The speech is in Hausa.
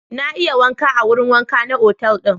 Na iya wanka a wurin wanka na otal ɗin.